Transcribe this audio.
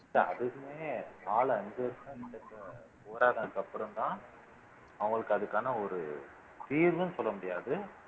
இல்ல அதுவுமே நாலு அஞ்சு வருஷம்கிட்டக்க போராடுனா அப்புறம்தான் அவங்களுக்கு அதுக்கான ஒரு தீர்வுன்னு சொல்ல முடியாது